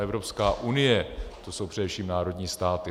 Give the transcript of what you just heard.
Evropská unie, to jsou především národní státy.